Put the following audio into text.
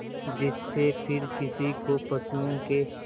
जिससे फिर किसी को पशुओं के